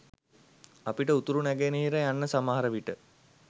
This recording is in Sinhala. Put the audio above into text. අපිට උතුරු නැගෙනහිර යන්න සමහරවිට